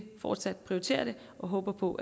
fortsat prioritere det og håber på